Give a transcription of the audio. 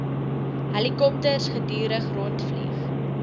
helikopters gedurig rondvlieg